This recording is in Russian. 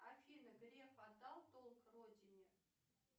афина греф отдал долг родине